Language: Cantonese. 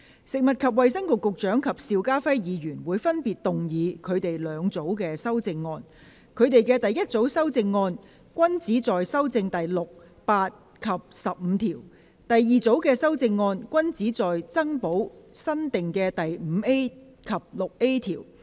食物及衞生局局長及邵家輝議員會分別動議他們的兩組修正案：他們的第一組修正案均旨在修正第6、8及15條；而第二組修正案均旨在增補新訂的第 5A 及 6A 條。